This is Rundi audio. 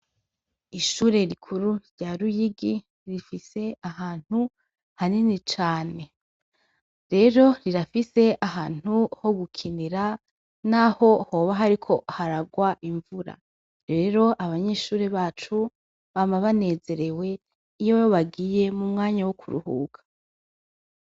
Ishure rikuru rya Ruyigi, rifise ahantu hanini cane. Rero, rirafise ahantu ho gukinira naho hoba hariko haragwa imvura, rero abanyeshure bacu bama banezerewe iyo bagiye mu mwanya wo kuruhuka.